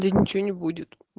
да ничего не будет